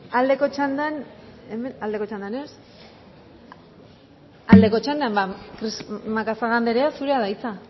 aldeko txandan ez aldeko txandan ba macazaga andrea zurea da hitza